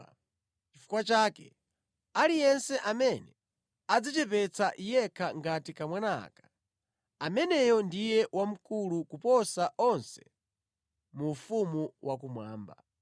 Chifukwa chake, aliyense amene adzichepetsa yekha ngati kamwana aka, ameneyo ndiye wamkulu koposa onse mu ufumu wakumwamba.